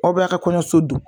Aw be aw ka kɔɲɔso don